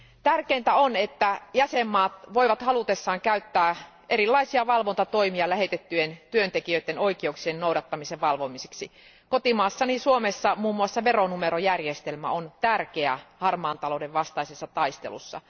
Tärkeintä on, että jäsenvaltiot voivat halutessaan käyttää erilaisia valvontatoimia lähettyjen työntekijöiden oikeuksien noudattamisen valvomiseksi. Kotimaassani Suomessa muun muassa veronumerojärjestelmä on tärkeä harmaan talouden vastaisessa taistelussa.